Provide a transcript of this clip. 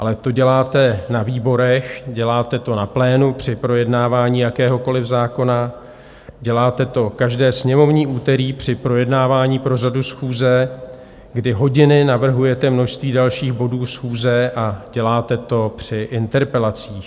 Ale to děláte na výborech, děláte to na plénu při projednávání jakéhokoliv zákona, děláte to každé sněmovní úterý při projednávání pořadu schůze, kdy hodiny navrhujete množství dalších bodů schůze, a děláte to při interpelacích.